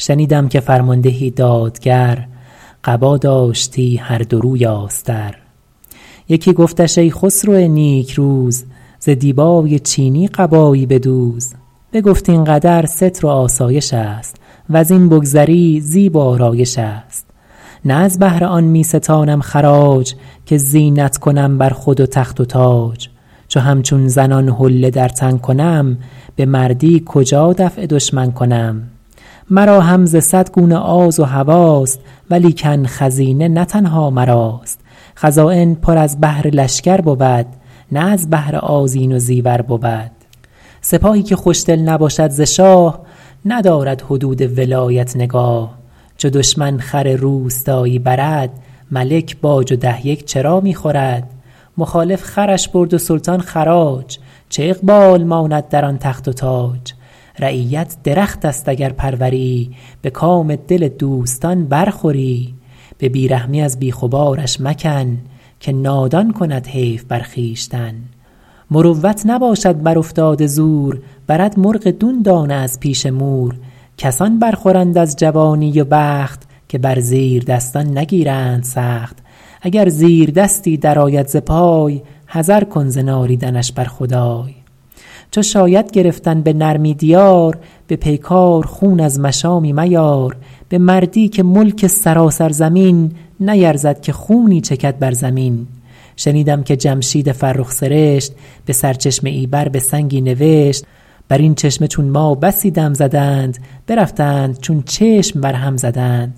شنیدم که فرماندهی دادگر قبا داشتی هر دو روی آستر یکی گفتش ای خسرو نیکروز ز دیبای چینی قبایی بدوز بگفت این قدر ستر و آسایش است وز این بگذری زیب و آرایش است نه از بهر آن می ستانم خراج که زینت کنم بر خود و تخت و تاج چو همچون زنان حله در تن کنم به مردی کجا دفع دشمن کنم مرا هم ز صد گونه آز و هواست ولیکن خزینه نه تنها مراست خزاین پر از بهر لشکر بود نه از بهر آذین و زیور بود سپاهی که خوشدل نباشد ز شاه ندارد حدود ولایت نگاه چو دشمن خر روستایی برد ملک باج و ده یک چرا می خورد مخالف خرش برد و سلطان خراج چه اقبال ماند در آن تخت و تاج رعیت درخت است اگر پروری به کام دل دوستان بر خوری به بی رحمی از بیخ و بارش مکن که نادان کند حیف بر خویشتن مروت نباشد بر افتاده زور برد مرغ دون دانه از پیش مور کسان بر خورند از جوانی و بخت که بر زیردستان نگیرند سخت اگر زیردستی در آید ز پای حذر کن ز نالیدنش بر خدای چو شاید گرفتن به نرمی دیار به پیکار خون از مشامی میار به مردی که ملک سراسر زمین نیرزد که خونی چکد بر زمین شنیدم که جمشید فرخ سرشت به سرچشمه ای بر به سنگی نوشت بر این چشمه چون ما بسی دم زدند برفتند چون چشم بر هم زدند